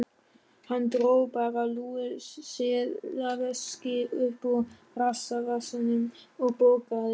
Hann dró bara lúið seðlaveski uppúr rassvasanum og borgaði.